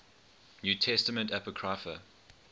new testament apocrypha